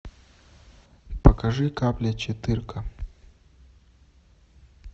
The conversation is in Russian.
покажи капля четырка